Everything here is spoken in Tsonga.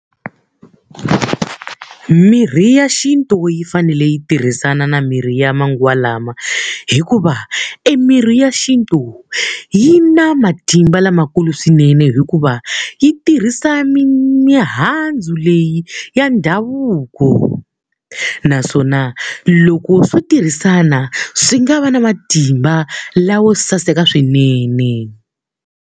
Mirhi ya xintu yi fanele yi tirhisana na mirhi ya manguva lawa hikuva, emirhi ya xintu yi na matimba lamakulu swinene hikuva yi tirhisa mihandzu leyi ya ndhavuko naswona loko swo tirhisana, swi nga va na matimba lawo saseka swinene.